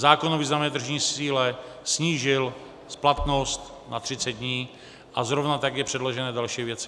Zákon o významné tržní síle snížil splatnost na 30 dní a zrovna tak jsou předložené další věci.